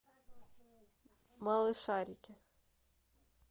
малышарики